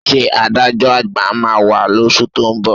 Ṣé adájọ́ à̀gbà máa wá lóṣù tó ń bọ̀?